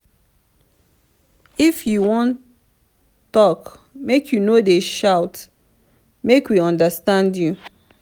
if you wan tok make you no dey shout make we understand you.